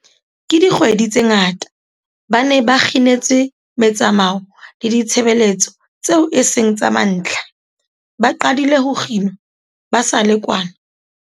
Ka dikgwedi tse ngata, ba ne ba kginetswe metsamao le ditshebeletso tseo e seng tsa mantlha, ba qadile ho kginwa ba sa le kwana